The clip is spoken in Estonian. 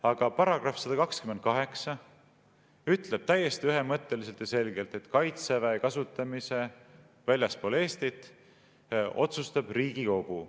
Aga § 128 ütleb täiesti ühemõtteliselt ja selgelt, et kaitseväe kasutamise väljaspool Eestit otsustab Riigikogu.